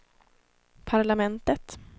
parlamentet